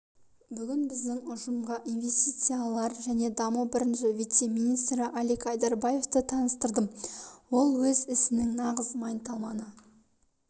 бүгін біздің ұжымға инвестициялар және даму бірінші вице-министрі алик айдарбаевты таныстырдым ол өз ісінің нағыз майталманы